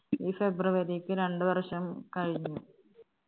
ഈ february ക്ക് രണ്ട്‌ വർഷം കഴിഞ്ഞു